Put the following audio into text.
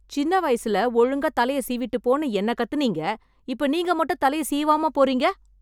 சின்ன வயசுல ஒழுங்கா தலைய சீவிட்டு போன்னு என்னக் கத்துனீங்க... இப்போ நீங்க மட்டும் தலைய சீவாம போறீங்க?